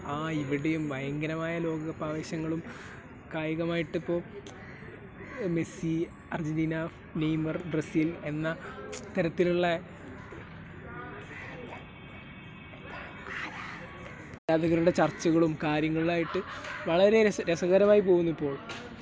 ആഹ് ..... ഇവിടെയും ഭയങ്കരമായ ലോകകപ്പ് ആവേശങ്ങളും കായികമായിട്ടിപ്പോൾ മെസ്സി , അർജൻറ്റീന , നെയ്മർ , ബ്രസീൽ എന്ന ഇത്തരത്തിലുള്ള ചർച്ചകളും കാര്യങ്ങളുമായിട്ട് വളരെ രസകരമായിട്ട് പോകുന്നിപ്പോൾ .